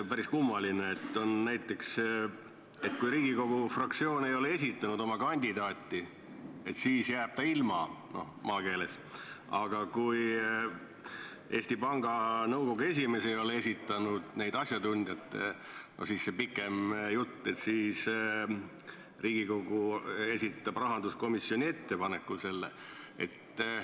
Päris kummaline, et siin on näiteks nii, et kui Riigikogu fraktsioon ei ole esitanud oma kandidaati, siis jääb ta ilma, maakeeles öeldes, aga kui Eesti Panga Nõukogu esimees ei ole esitanud asjatundjaid, siis see on see pikem jutt, et Riigikogu esitab need rahanduskomisjoni ettepanekul.